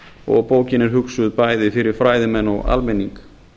og bókin er hugsuð bæði fyrir fræðimenn og almenning